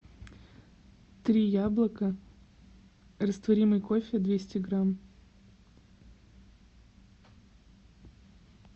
три яблока растворимый кофе двести грамм